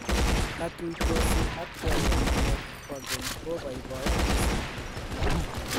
katutosi ak choruenyu nebo keny ko koibaibaiya mising'